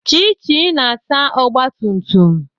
Chichi na-asa ogbatumtum